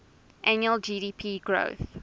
annual gdp growth